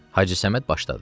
Hacı Səməd başladı.